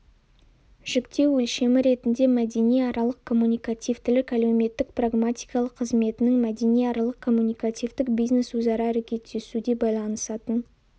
жіктеу өлшемі ретінде мәдениаралық коммуникативтілік әлеуметтік-прагматикалық қызметінің мәдениаралық коммуникативтік бизнес-өзара әрекеттесуде байланысатын